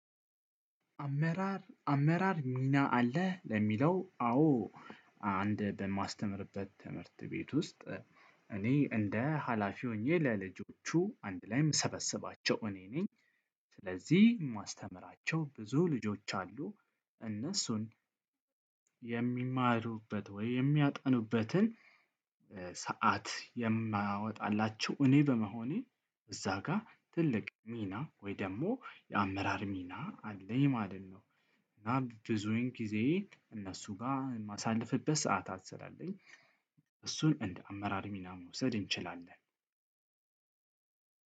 አመራር ሚና አለህ ለሚለው አዎ። አንድ በማስተምርበት ትምህርት ቤት ውስጥ እኔ እንደ ሀላፊ ሆኜ ለልጆቹ አንድ ላይ ምሰበስባቸው እኔ ነኝ። ስለዚህ ማስተምራቸው ብዙ ልጆች አሉ። እነሱን የሚማሩበት ወይም የሚያጠኑበትን ሰዓት የማወጣላችሁ እኔ በመሆኔ። እዛ ጋ ትልቅ ሚና ወይ ደግሞ የአመራር ሚና አለኝ ማለት ነው። እና ብዙዬን ጊዜ እነሱ ጋ የማሳልፍበት ሰዓታት ስላለኝ እሱን እንደ አመራር ሚና መውሰድ እንችላለን።